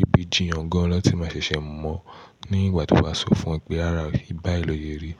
ibi jiyàn gan lọ tí máa ṣẹ̀ṣẹ̀ mọ̀ ọ́n ní ìgbà tí o bá sọ fún ẹ pé, "rará o, bá yi lo sẹrí."